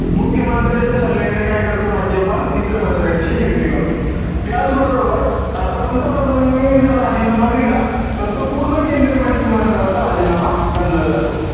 मुख्यमंत्र्यांच्या सल्ल्याने काय करतो राज्यपाल? इतर मंत्र्यांची नियुक्ती करतो. त्याचबरोबर, आता पंतप्रधानांनी जर राजीनामा दिला तर तो पूर्ण केंद्रीय मंत्रिमंडळाचा राजीनामा गणला जातो.